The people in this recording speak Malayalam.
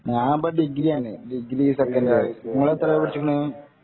ഞാന് ഇപ്പൊ ഡിഗ്രീ ആണ് ഡിഗ്രീ സെക്കന്റ് ഇയർ നിങ്ങൾ എത്രെ വരെ പഠിച്ചിക്കിന്